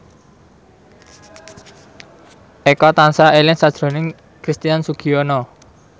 Eko tansah eling sakjroning Christian Sugiono